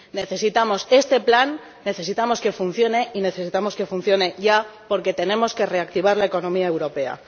Necesitamos este plan, necesitamos que funcione y necesitamos que funcione ya, porque tenemos que reactivar la economía europea.